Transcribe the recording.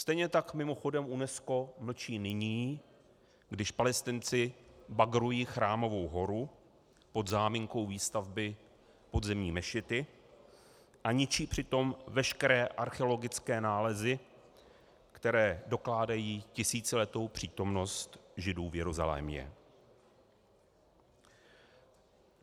Stejně tak mimochodem UNESCO mlčí nyní, když Palestinci bagrují Chrámovou horu pod záminkou výstavby podzemní mešity a ničí přitom veškeré archeologické nálezy, které dokládají tisíciletou přítomnost Židů v Jeruzalémě.